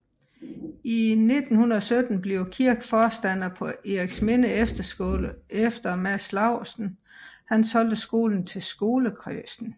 I 1917 bliver Kirk forstander på Eriksminde Efterskole efter at Mads Laursen har solgt skolen til skolekredsen